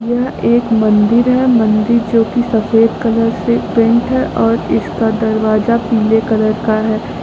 यह एक मंदिर है मंदिर जो की सफेद कलर से पेंट है और इसका दरवाजा पीले कलर का है।